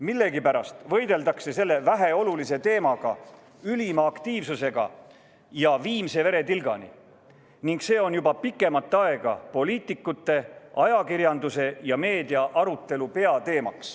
Millegipärast võideldakse selle väheolulise teemaga ülima aktiivsusega ja viimse veretilgani, ning see on juba pikemat aega olnud poliitikute, ajakirjanduse ja meedia arutelu peateema.